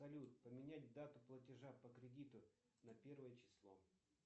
салют поменять дату платежа по кредиту на первое число